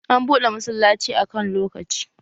An buɗe masallaci a kan lokaci